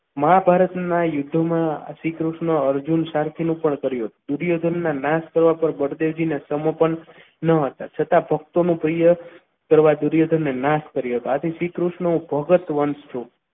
મહાભારતના યુદ્ધમાં આ શ્રીકૃષ્ણ અર્જુન સાથેનો પણ કર્યું હતું દુર્યોધન ના નાશ થવા પર બળદેવજી ને સમર્પણ ન હતા. છતાં દુર્યોધનની નાસ કરી હતી આથી શ્રીકૃષ્ણ હું ભગત વંશ છું.